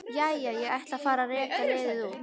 Jæja, ég ætla að fara að reka liðið út.